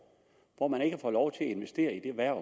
hvor man ikke får lov til at investere i det erhverv